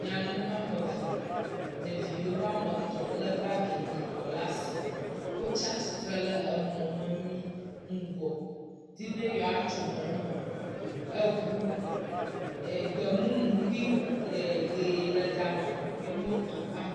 Nyɔnu ameve, ɖeviwo ƒe amet le bagi yibɔ le asi. Wo tsiatsitrɛ emɔmemi ŋgɔ di be yewoatso mɔme. Eŋu, gbemumu kpli ʋi le gama kpli motu.